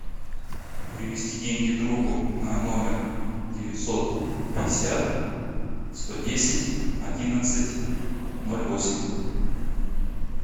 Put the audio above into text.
перевести деньги другу на номер девятьсот пятьдесят сто десять одиннадцать ноль восемь